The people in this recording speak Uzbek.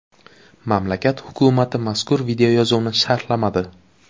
Mamlakat hukumati mazkur videoyozuvni sharhlamadi.